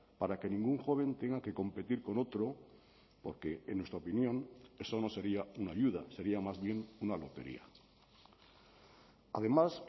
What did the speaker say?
para que ningún joven tenga que competir con otro porque en nuestra opinión eso no sería una ayuda sería más bien una lotería además